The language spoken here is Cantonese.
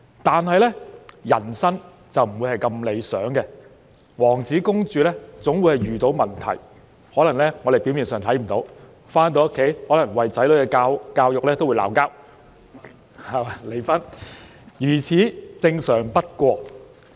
然而，人生不會如此理想，王子和公主總會遇到問題，可能其他人表面上察覺不到；一對夫婦在回家後可能會為子女的教育問題爭吵，最後甚至弄致離婚，如此正常不過。